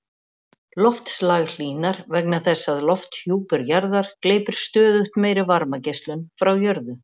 Loftslag hlýnar vegna þess að lofthjúpur jarðar gleypir stöðugt meiri varmageislun frá jörðu.